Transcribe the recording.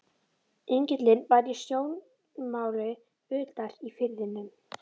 Engillinn var í sjónmáli utar í firðinum.